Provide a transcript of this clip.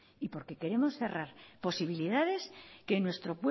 y porque queremos cerrar posibilidades que en nuestro